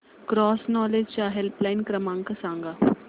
cross knowledge चा helpline क्रमांक सांगा